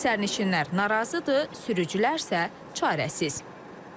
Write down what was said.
Sərnişinlər narazıdır, sürücülər isə çarəsiz.